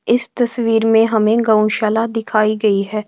इस तस्वीर में हमें गौ शाला दिखाई गई है।